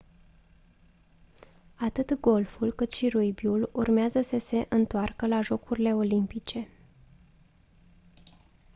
atât golful cât și rugbiul urmează să se întoarcă la jocurile olimpice